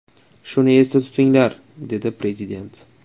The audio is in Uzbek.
Shuni esda tutinglar”, dedi prezident.